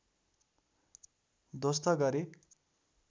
ध्वस्त गरे